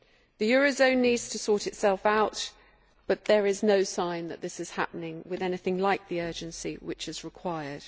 The eurozone needs to sort itself out, but there is no sign that this is happening with anything like the urgency which is required.